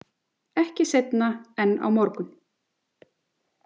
Ekki seinna en á morgun.